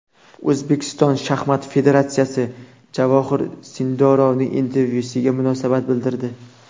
O‘zbekiston shaxmat federatsiyasi Javohir Sindorovning intervyusiga munosabat bildirdi.